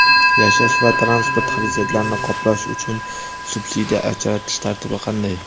yashash va transport xarajatlarini qoplash uchun subsidiya ajratish tartibi qanday?.